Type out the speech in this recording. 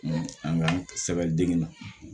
An ka sɛbɛn dege la